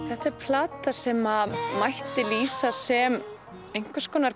þetta er plata sem mætti lýsa sem einhvers konar